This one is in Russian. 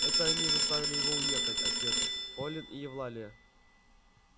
это они заставили его уехать отец полин и евлалия